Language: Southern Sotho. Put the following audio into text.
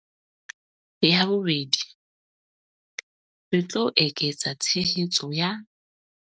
Ya bobedi, re tlo eketsa tshehetso ya